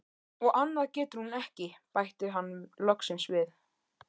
Og annað getur hún ekki, bætti hann loksins við.